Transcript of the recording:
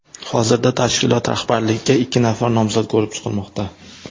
Hozirda tashkilot rahbarligiga ikki nafar nomzod ko‘rib chiqilmoqda.